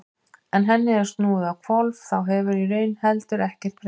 Ef henni er snúið á hvolf þá hefur í raun heldur ekkert breyst.